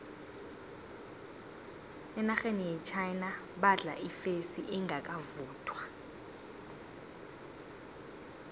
enarheni yechina badla ifesi engakavuthwa